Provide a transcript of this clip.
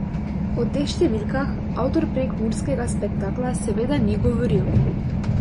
O teh številkah avtor prekmurskega spektakla seveda ni govoril.